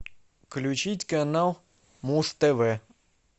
включить канал муз тв